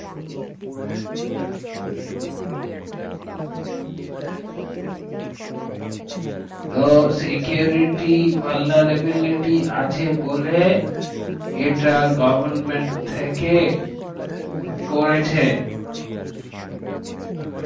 তো security পালনের availity আছে বলে এটা government থেকে করেছে আচ্ছা